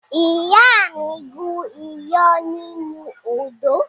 Ìyá mi gún iyán nínú odó.